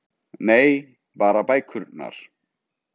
Nei- bara bækurnar